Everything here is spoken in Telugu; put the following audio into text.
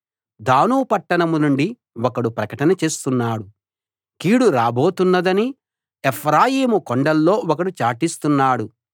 దాను పట్టణం నుండి ఒకడు ప్రకటన చేస్తున్నాడు కీడు రాబోతున్నదని ఎఫ్రాయిము కొండల్లో ఒకడు చాటిస్తున్నాడు